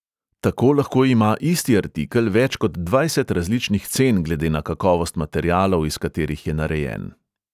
Tako lahko ima isti artikel več kot dvajset različnih cen glede na kakovost materialov, iz katerih je narejen.